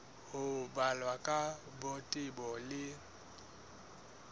ho balwa ka botebo le